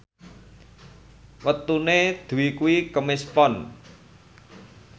wetone Dwi kuwi Kemis Pon